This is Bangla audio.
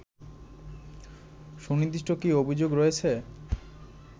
সুনির্দিষ্ট কী অভিযোগ রয়েছে